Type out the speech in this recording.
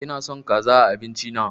Ina son kaza a abincin na